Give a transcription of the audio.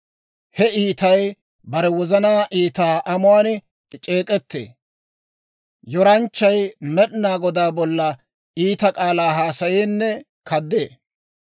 He iitay bare wozanaa iita amuwaan c'eek'ettee; yoranchchay Med'inaa Godaa bolla iita k'aalaa haasayeenne kaddee.